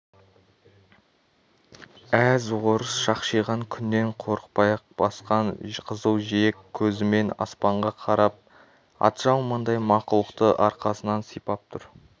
әз орыс шақшиған күннен қорықпай ақ басқан қызыл жиек көзімен аспанға қарап атжалмандай мақұлықты арқасынан сипап тұр